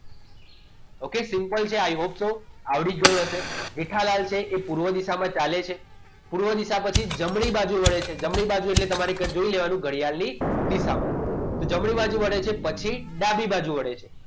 okay simple છે i hope so આવડી ગયું હશે જેઠાલાલ છે એ પૂર્વ દિશામાં ચાલે છે પૂર્વ દિશા પછી જમણી બાજુ વળે છે જમણી બાજુ એટલે તમારે જોઈ લેવાનું ઘડિયાળની દિશામાં તો જમણી બાજુ પડે છે પછી ડાબી બાજુ વળે છે